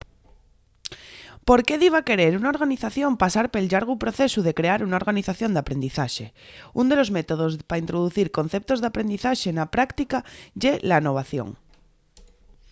¿por qué diba querer una organización pasar pel llargu procesu de crear una organización d'aprendizaxe? ún de los métodos pa introducir conceptos d'aprendizaxe na práctica ye l'anovación